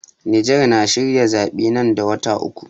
Niger na shirin zaɓe nan da wata uku.